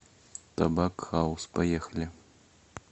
табак хаус поехали